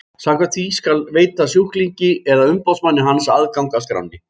Samkvæmt því skal veita sjúklingi eða umboðsmanni hans aðgang að skránni.